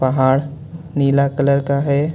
पहाड़ नीला कलर का हे.